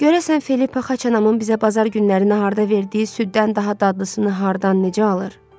Görəsən Filippa Xaçanamın bizə bazar günləri naharda verdiyi süddən daha dadlısını hardan, necə alır?